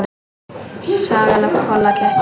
Sagan af Kolla ketti.